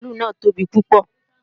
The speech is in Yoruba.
Mààlúù náà tóbi púpọ̀